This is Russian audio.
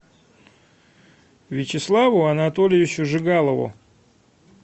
вячеславу анатольевичу жигалову